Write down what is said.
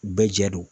U bɛɛ jɛ don